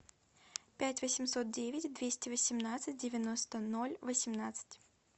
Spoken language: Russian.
пять восемьсот девять двести восемнадцать девяносто ноль восемнадцать